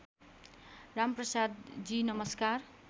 रामप्रसाद जी नमस्कार